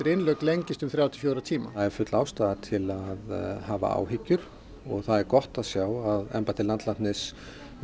innlögn lengist um þrjá til fjóra tíma það er full ástæða til að hafa áhyggjur það er gott að sjá að embætti landlæknis